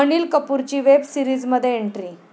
अनिल कपूरची वेब सीरिजमध्ये एंट्री